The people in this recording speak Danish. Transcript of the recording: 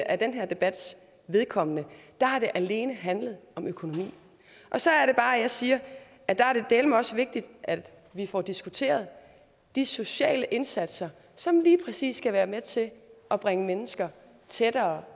af den her debats vedkommende har det alene handlet om økonomi og så er det bare jeg siger at der er det dæleme også vigtigt at vi får diskuteret de sociale indsatser som lige præcis skal være med til at bringe mennesker tættere